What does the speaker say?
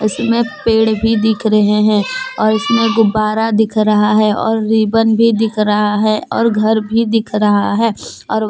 इसमे पेड़ भी दिख रहे है और इसमे गुब्बारा दिख रहा है और रिबन भी दिख रहा है और घर भी दिख रहा है और--